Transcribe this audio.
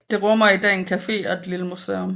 Det rummer i dag en cafe og et lille museum